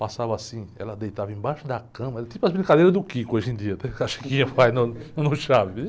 Passava assim, ela deitava embaixo da cama, era tipo as brincadeiras do Quico hoje em dia, até que a Chiquinha vai no, no Chaves.